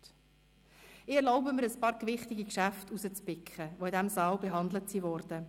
Ich erlaube mir, einige gewichtige Geschäfte herauszupicken, die in diesem Saal behandelt wurden: